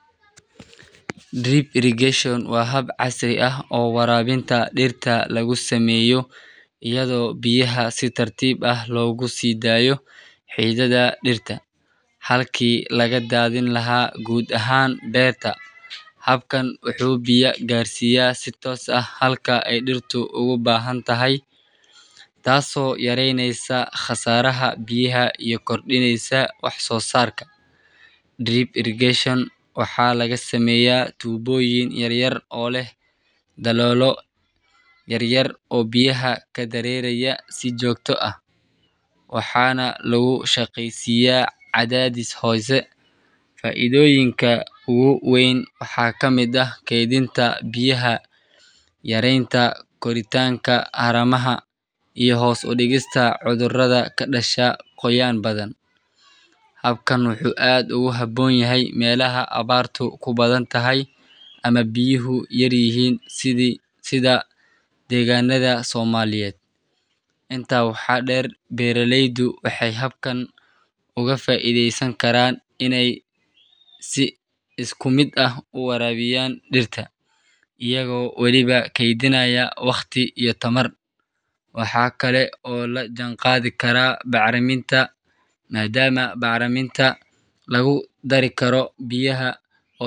Deep irrigation waa hab casri ah oo warabinta dirta iyo lagu sameyo iyada oo biyaha si tar tib ah logu sidayo xididadha dirta, halki laga dadhin laha gar ahan beerta, habkan wuxuu biya garsiya tos ah, waxaa laga seya, waxana lagu shaqeya cadhadhis hose faidoyiinka ugu weyn eh kwdinta biyaha yarenta koritanka iyo hos udigista cudhurada ka dasha qoyan badan, habkan wuxu aad ogu fican yahay mesha biyaha yar yihin, waxaa la Jim qadhikaraa bax riminta.